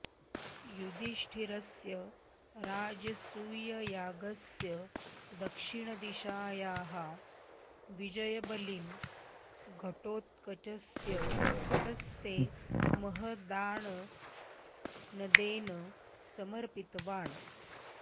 युदिष्टिरस्य राजसूययागस्य दक्षिणदिशायाः विजयबलिं घटोत्कचस्य हस्ते महदाननदेन समर्पितवान्